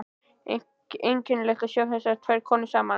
Einkennilegt að sjá þessar tvær konur saman.